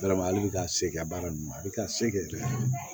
ka se a baara nunnu ma a bi ka se kɛ